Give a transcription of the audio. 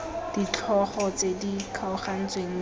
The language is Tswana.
ditlhogo tse di kgaogantsweng mme